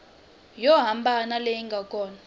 yo hambana leyi nga kona